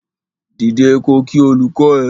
Dìde ko kí olùkọ ẹ!